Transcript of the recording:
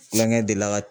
Kulonkɛ de la